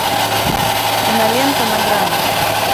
кинолента на грани